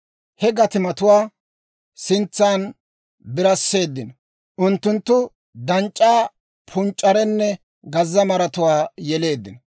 he gatimatuwaa sintsan birasseeddino; unttunttu danc'c'aa, punc'c'arenne gazza maratuwaa yeleeddino.